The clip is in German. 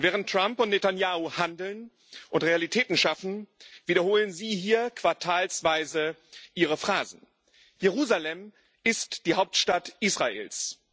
Während Trump und Netanjahu handeln und Realitäten schaffen, wiederholen Sie hier quartalsweise ihre Phrasen. Jerusalem ist die Hauptstadt Israels.